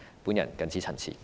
我謹此陳辭。